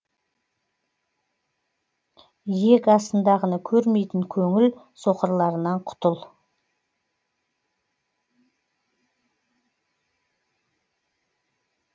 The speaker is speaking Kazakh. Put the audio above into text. иек астындағыны көрмейтін көңіл соқырларынан құтыл